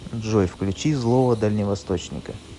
джой включи злого дальневосточника